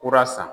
Kura san